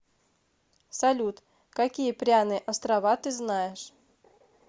салют какие пряные острова ты знаешь